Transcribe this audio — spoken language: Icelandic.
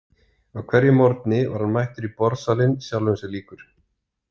Á hverjum morgni var hann mættur í borðsalinn sjálfum sér líkur.